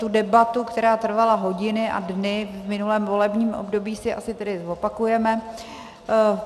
Tu debatu, která trvala hodiny a dny v minulém volebním období, si asi tedy zopakujeme.